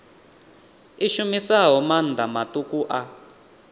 i shumisaho maanḓa maṱuku a